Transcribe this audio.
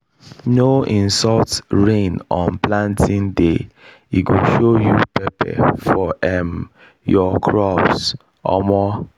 no insult rain on planting day e go show you pepper for um your crops. um